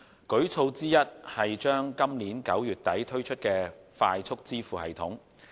舉措之一是將於今年9月底推出的快速支付系統。